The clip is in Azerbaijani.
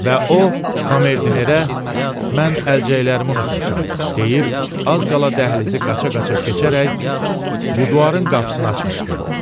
Və o, komerdinerə mən əlcəklərimi unutmuşam deyib, az qala dəhlizi qaça-qaça keçərək bu divarın qapısını açmışdı.